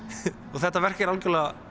og þetta verk er algjörlega